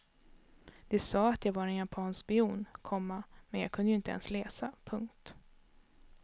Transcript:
De sa att jag var en japansk spion, komma men jag kunde ju inte ens läsa. punkt